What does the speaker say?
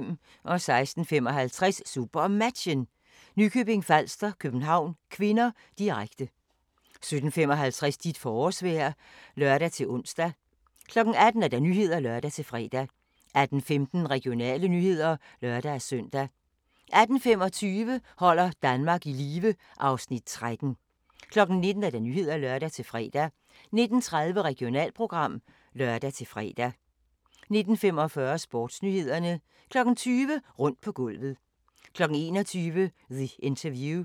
16:55: SuperMatchen: Nykøbing Falster-København (k), direkte 17:55: Dit forårsvejr (lør-ons) 18:00: Nyhederne (lør-fre) 18:15: Regionale nyheder (lør-søn) 18:25: Holder Danmark i live (Afs. 13) 19:00: Nyhederne (lør-fre) 19:30: Regionalprogram (lør-fre) 19:45: Sportsnyhederne 20:00: Rundt på gulvet 21:00: The Interview